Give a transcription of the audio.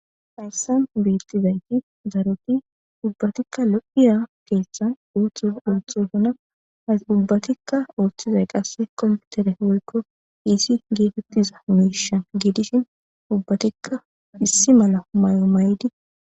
Hayisan betizays daro ubatika lo'a kethan oso othosona ubatika othizayis qasi kopitere woyiko pice getetiza mishe gidishin ubatika issi mala mayo mayidi